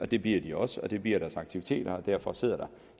det bliver de også og det bliver deres aktiviteter og derfor sidder der